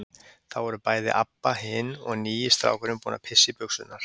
Þá voru bæði Abba hin og nýi strákurinn búin að pissa í buxurnar.